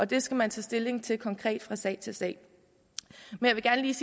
det skal man tage stilling til konkret fra sag til sag jeg vil gerne lige